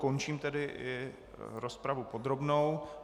Končím tedy i rozpravu podrobnou.